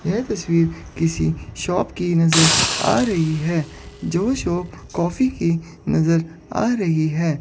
यह तस्वीर किसी शॉप की नजर आ रही है जो शॉप कॉफ़ी की नजर आ रही है।